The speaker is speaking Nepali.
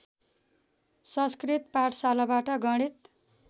संस्कृत पाठशालाबाट गणित